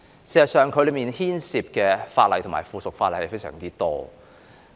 事實上，當中牽涉的主體法例和附屬法例非常多。